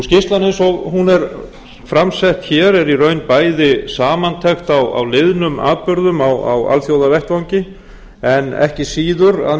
skýrslan eins og hún er fram sett hér er í raun bæði samantekt á liðnum atburðum á alþjóðavettvangi en ekki síður að